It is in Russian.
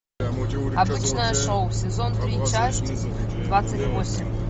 обычное шоу сезон три часть двадцать восемь